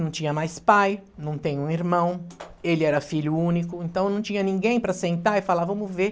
Não tinha mais pai, não tem um irmão, ele era filho único, então não tinha ninguém para sentar e falar, vamos ver.